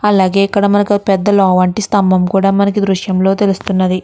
అలాగే మనకి ఇక్క్కడ ఒక పెద్ద లావు వంటి స్థంభం కూడా మనకి దృశ్యం లో తెల్లుస్తుంది.